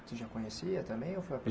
Você já conhecia também ou foi?